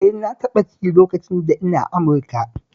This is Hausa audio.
Eh na taɓa ci lokacin da ina Amurika